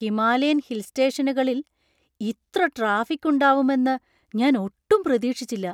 Himalayan hill സ്റ്റേഷനുകളിൽ ഇത്ര traffic ഉണ്ടാവും എന്ന് ഞാൻ ഒട്ടും പ്രതീക്ഷിച്ചില്ല.